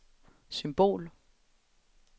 symbol